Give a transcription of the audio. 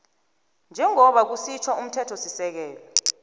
njengoba kusitjho umthethosisekelo